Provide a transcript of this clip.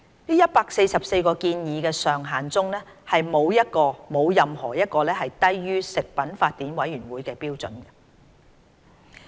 這144個建議上限中，沒有任何一個低於食品法典委員會的標準。